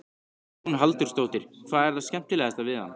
Hugrún Halldórsdóttir: Hvað er það skemmtilegasta við hann?